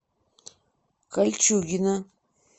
кольчугино